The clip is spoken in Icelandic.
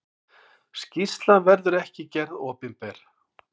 Skýrslan verður ekki gerð opinber.